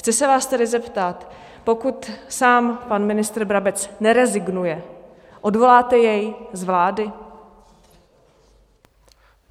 Chci se vás tedy zeptat: pokud sám pan ministr Brabec nerezignuje, odvoláte jej z vlády?